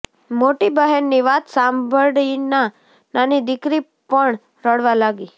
મોટી બહેનની વાત સાંભળીના નાની દીકરી પણ રડવા લાગી